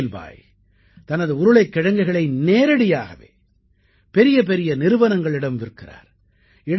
இஸ்மாயில் பாய் தனது உருளைக்கிழங்குகளை நேரடியாகவே பெரியபெரிய நிறுவனங்களிடம் விற்கிறார்